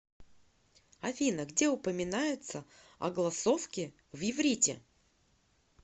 афина где упоминается огласовки в иврите